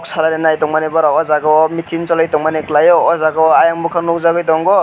salai ni naitongmani oborok o jaga o meeting choli tongmani kelai o ojaga o ayang bokak nogjagoi tango.